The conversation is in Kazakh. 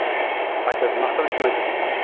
мақтанышпен айтатынбыз